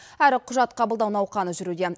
әрі құжат қабылдау науқаны жүруде